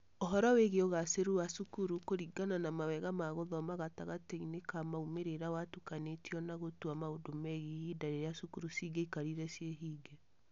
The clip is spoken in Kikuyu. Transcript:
Ũhoro wĩgiĩ ũgaacĩru wa cukuru kũringana na mawega ma gũthoma gatagatĩ-inĩ ka maumĩrĩra watukanĩtio na gũtua maũndũ megiĩ ihinda rĩrĩa cukuru cingĩakarire cie hinge.